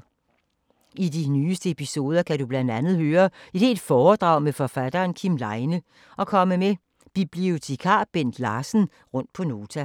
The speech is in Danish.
I de nyeste episoder kan du blandt andet høre et helt foredrag med forfatteren Kim Leine og komme med bibliotekar Bent Larsen rundt på Nota.